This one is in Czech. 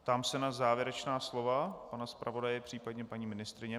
Ptám se na závěrečná slova pana zpravodaje, případně paní ministryně.